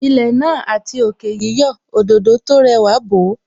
Ilẹ̀ náà àti òkè yíyọ̀, Òdòdó tó rẹwà bò ó